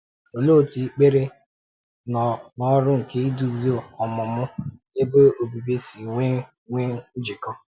Òlee otú èkpèrè na ọ́rụ nke idúzi ọmụmụ Ebe Obibi si nwee nwee njikọ?